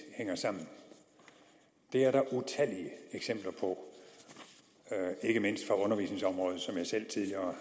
hænger sammen det er der utallige eksempler på ikke mindst fra undervisningsområdet som jeg selv tidligere